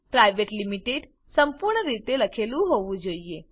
private limited સંપૂર્ણ રીતે લખેલું હોવું જોઈએ